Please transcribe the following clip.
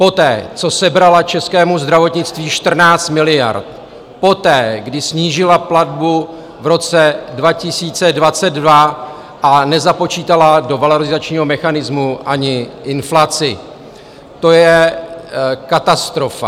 Poté, co sebrala českému zdravotnictví 14 miliard, poté, kdy snížila platbu v roce 2022 a nezapočítala do valorizačního mechanismu ani inflaci, to je katastrofa.